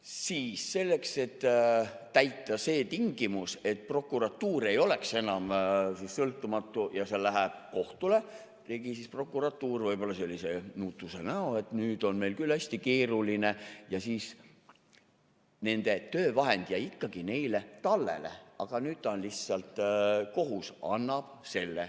Siis selleks, et täita see tingimus, et prokuratuur ei ole enam sõltumatu ja see läheb kohtule, tegi prokuratuur võib-olla sellise nutuse näo, et nüüd on meil küll hästi keeruline, ja nende töövahend jäi ikkagi neile tallele, aga nüüd lihtsalt kohus annab selle.